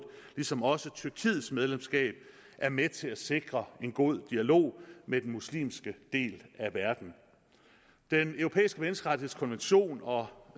ligesom også tyrkiets medlemskab er med til at sikre en god dialog med den muslimske del af verden den europæiske menneskerettighedskonvention og